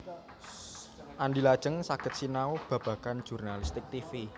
Andy lajeng saged sinau babagan jurnalistik tivi